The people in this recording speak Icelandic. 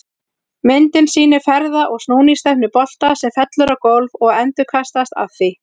Myndin sýnir ferða- og snúningsstefnu bolta sem fellur á gólf og endurkastast af því.